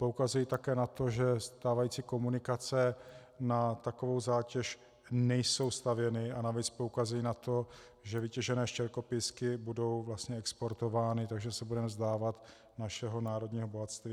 Poukazují také na to, že stávající komunikace na takovou zátěž nejsou stavěny, a navíc poukazují na to, že vytěžené štěrkopísky budou vlastně exportovány, takže se budeme vzdávat našeho národního bohatství.